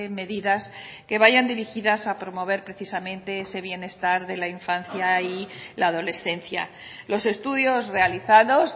medidas que vayan dirigidas a promover precisamente ese bienestar de la infancia y la adolescencia los estudios realizados